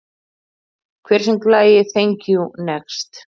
Hver söng lagið Thank you, next?